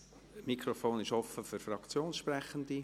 Das Mikrofon ist offen für Fraktionssprechende.